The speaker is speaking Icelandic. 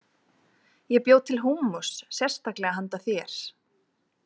Ég bjó til húmmus sérstaklega handa þér.